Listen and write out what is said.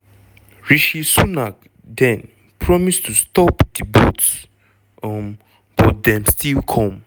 rishi sunak den promise to "stop di boats" - um but dem still come.